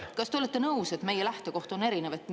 Kas te olete nõus, et meie lähtekoht on erinev?